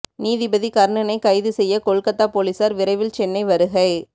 நீதிபதி கர்ணனை கைது செய்ய கொல்கத்தா போலீசார் விரைவில் சென்னை வருகை